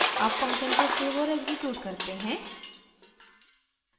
अब हम फंक्शन को सेव और एक्सिक्यूट करते हैं